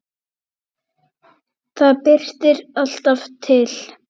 Það birtir alltaf til.